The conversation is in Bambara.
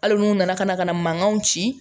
Hali n'u nana ka na ka na mankanw ci